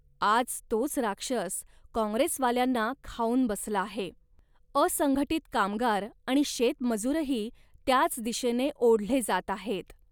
आज तोच राक्षस काँग्रेसवाल्यांना खाऊन बसला आहे. असंघटित कामगार आणि शेतमजूरही त्याच दिशेने ओढले जात आहेत